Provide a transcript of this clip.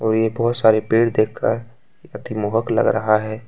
वे बहुत सारे पेड़ देखकर अतिमोहक लग रहा है।